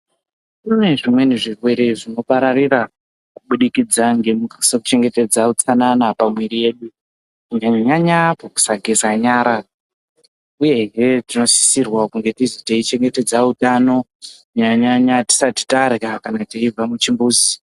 Kune zvimweni zvirwere zvinopararira kubudikidza ngekusachengetedze utsanana pamwiri yedu, kunyanyanyanya pakusageza nyara uyehe tinosisirwa kunge teichengetedza utano nyanyanya tisati tarya kana teibva muchimbuzi.